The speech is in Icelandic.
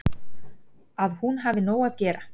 Að hún hafi nóg að gera.